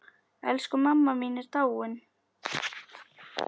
Elsku mamma mín er dáin.